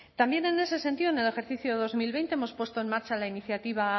también en ese sentido en el ejercicio de dos mil veinte hemos puesto en marcha la iniciativa